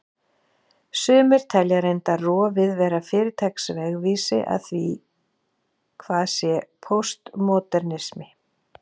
Sumir telja reyndar rofið vera fyrirtaks vegvísi að því hvað sé póstmódernismi.